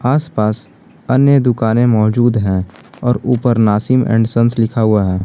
आस पास अन्य दुकानें मौजूद हैं और ऊपर नासीम एंड संस लिखा हुआ है।